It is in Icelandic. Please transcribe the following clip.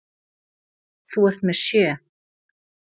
Þú ert með sjö!